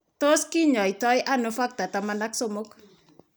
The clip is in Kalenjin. Tos kinyaita ano Factor XIII?